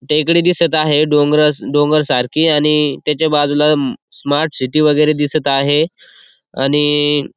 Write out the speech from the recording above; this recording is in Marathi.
टेकडी दिसत आहे डोंगरासा डोंगर सारखे आणि त्याच्या बाजूला स्मार्ट सिटी वगेरे दिसत आहे आणि --